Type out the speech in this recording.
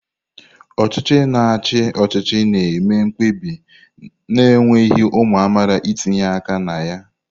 Ọchịchị na-achị ọchịchị na-eme mkpebi na-ekweghị ụmụ amaala itinye aka na ya.